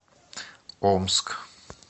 омск